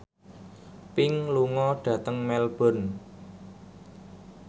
Pink lunga dhateng Melbourne